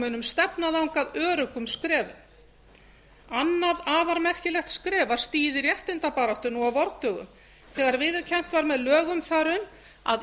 munum stefna þangað öruggum skrefum annað afar merkilegt skref var stigið í réttindabaráttu á vordögum þegar viðurkennt var með lögum þar um að